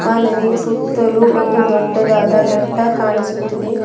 ಆ ನದಿಯ ಸುತ್ತಲೂ ಒಂದು ದೊಡ್ಡದಾದ ಬೆಟ್ಟ ಕಾಣಿಸುತ್ತಿದೆ.